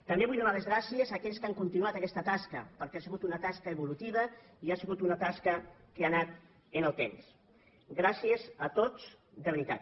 també vull donar les gràcies a aquells que han continuat aquesta tasca perquè ha sigut una tasca evolutiva i ha sigut una tasca que ha anat amb el temps gràcies a tots de veritat